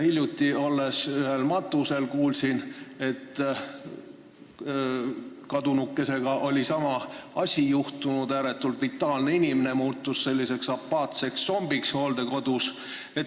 Hiljuti ühel matusel olles kuulsin, et kadunukesega oli juhtunud sama asi – ääretult vitaalne inimene muutus hooldekodus apaatseks zombiks.